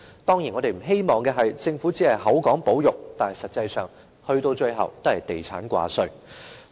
當然，我們不希望政府只是口說保育，但實際上，到最後也是地產掛帥。